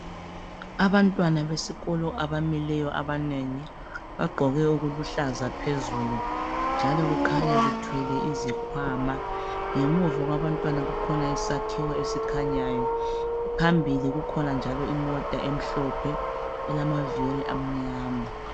Abantwana besikolo abamileyo abanengi bagqoke okuluhlaza phezulu njalo kukhanya bethwele izikhwama .Ngemuva kwabantwana kukhona isakhiwo esikhanyayo. Phambili kukhona njalo imota emhlophe elamavili amnyama.